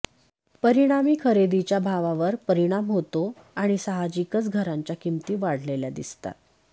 परिणामी खरेदीच्या भावावर परिणाम होतो आणि साहजिकच घरांच्या किंमती वाढलेल्या दिसतात